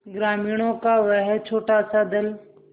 ग्रामीणों का वह छोटासा दल